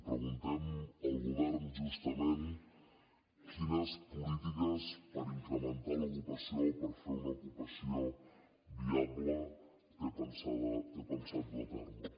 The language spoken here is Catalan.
preguntem al govern justament quines polítiques per incrementar l’ocupació per fer una ocupació viable té pensat dur a terme